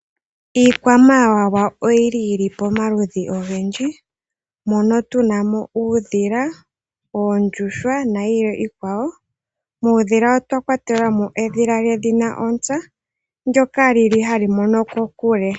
Iikwamawawa oyili yili pomaludhi ogendji, mono tuna mo uudhila, oondjuhwa nayilwe iikwawo. Muudhila otwa kwatela mo edhila lyedhina ontsa, ndyoka lyili hali mono kokule.